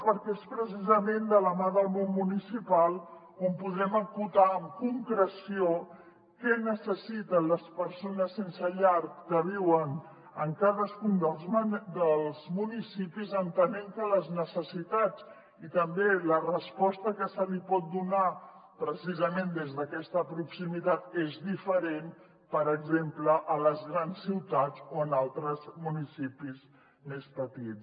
perquè és precisament de la mà del món municipal que podrem acotar amb concreció què necessiten les persones sense llar que viuen en cadascun dels municipis entenent que les necessitats i també la resposta que se’ls hi pot donar precisament des d’aquesta proximitat és diferent per exemple a les grans ciutats o en altres municipis més petits